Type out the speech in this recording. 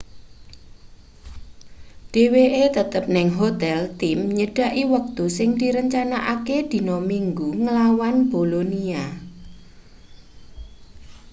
dheweke tetep ning hotel tim nyedhaki wektu sing direncanakake dina minggu nglawan bolonia